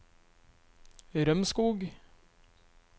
Rømskog